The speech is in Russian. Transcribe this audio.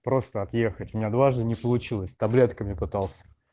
просто отъехать меня дважды не получилось таблетками пытался